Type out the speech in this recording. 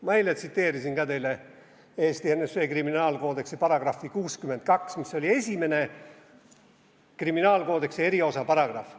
Ma tsiteerisin eile ka teile ENSV kriminaalkoodeksi § 62, mis oli esimene kriminaalkoodeksi eriosa paragrahv.